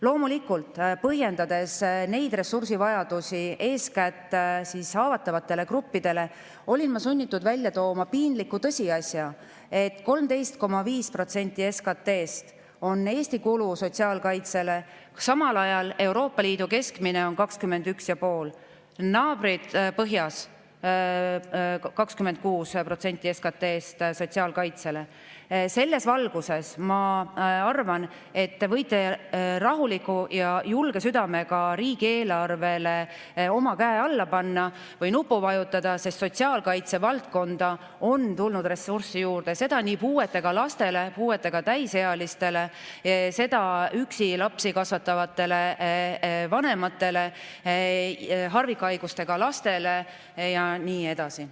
Loomulikult, põhjendades eeskätt haavatavate gruppide ressursivajadusi, olin ma sunnitud välja tooma piinliku tõsiasja, et Eestis kulub sotsiaalkaitsele 13,5% SKT‑st, samal ajal on Euroopa Liidu keskmine 21,5%, naabrid põhjas kulutavad sotsiaalkaitsele 26% SKT‑st. Selles valguses ma arvan, et te võite rahuliku ja julge südamega riigieelarvele oma käe alla panna või nuppu vajutada, sest sotsiaalkaitse valdkonda on tulnud ressurssi juurde, seda nii puuetega lastele, puuetega täisealistele, üksi lapsi kasvatavatele vanematele, harvikhaigustega lastele ja nii edasi.